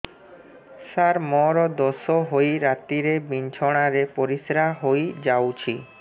ସାର ମୋର ଦୋଷ ହୋଇ ରାତିରେ ବିଛଣାରେ ପରିସ୍ରା ହୋଇ ଯାଉଛି